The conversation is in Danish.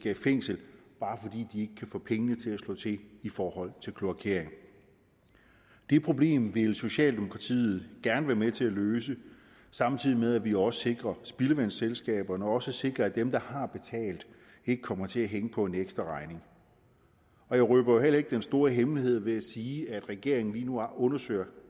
i fængsel bare fordi de kan få pengene til at slå til i forhold til kloakering det problem vil socialdemokratiet gerne være med til at løse samtidig med at vi også sikrer spildevandsselskaberne og sikrer at dem der har betalt ikke kommer til at hænge på en ekstraregning jeg røber jo heller ikke den store hemmelighed ved at sige at regeringen lige nu undersøger